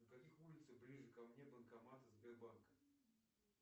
на каких улицах ближе ко мне банкоматы сбербанка